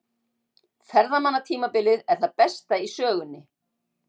Ferðamannatímabilið er það besta í sögunni